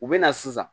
U bɛ na sisan